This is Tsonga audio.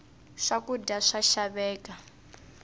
swa kudya swa xaveka